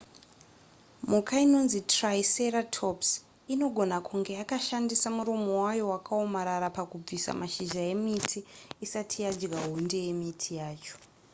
mhuka inonzi triceratops inogona kunge yakashandisa muromo wayo wakaomarara pakubvisa mashizha emiti isati yadya hunde yemiti yacho